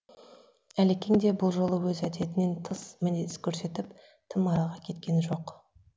әлекең де бұл жолы өз әдетінен тыс мінез көрсетіп тым арыға кеткен жоқ